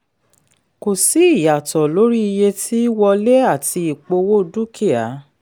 kò sí ìyàtọ̀ lórí iye tí wọlé àti ìpowó dúkìá.